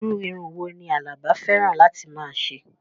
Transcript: Irú irun wo ni Àlàbá fẹ́ràn láti máa ṣe?